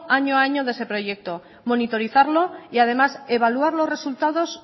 año a año de ese proyecto monitorizarlo y además evaluar los resultados